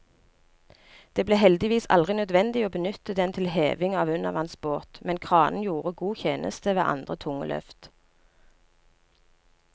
Det ble heldigvis aldri nødvendig å benytte den til heving av undervannsbåt, men kranen gjorde god tjeneste ved andre tunge løft.